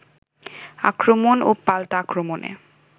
আক্রমণ ও পাল্টা আক্রমণে